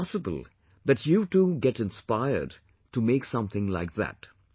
It is possible that you too get inspired to make something like that